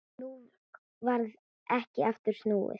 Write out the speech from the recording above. Nú varð ekki aftur snúið.